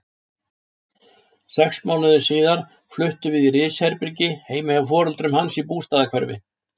Sex mánuðum síðar fluttum við því í risherbergi heima hjá foreldrum hans í Bústaðahverfi.